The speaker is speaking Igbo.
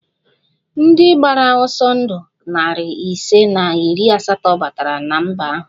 Ndị gbara ọsọ ndụ narị ise na iri asatọ batara na mba ahụ